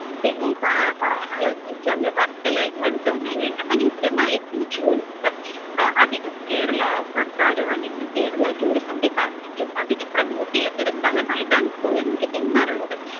പിന്നെ പറയാനുള്ളത്ന്ന്‌ വെച്ചാല് വർക്കലയ്ക്ക് അടുത്ത് തന്നെ വേറെ മനോഹരമായ beach ഉകളുണ്ട്. അഹ് അധികം കേരള സർക്കാരോ അല്ലെങ്കിൽ കേരളം tourism department ഉം അധികം promote എയ്യാത്തൊരു സ്ഥലമായിട്ടാണ് ഇപ്പോഴും എനിക്ക് തോന്നാറുള്ളത്